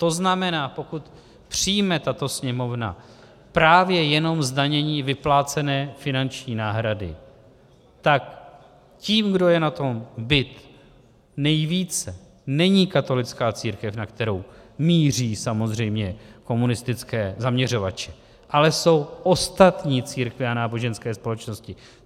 To znamená, pokud přijme tato Sněmovna právě jenom zdanění vyplácené finanční náhrady, tak tím, kdo je na tom bit nejvíce, není katolická církev, na kterou míří samozřejmě komunistické zaměřovače, ale jsou ostatní církve a náboženské společnosti.